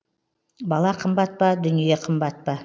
бала қымбат па дүние қымбат па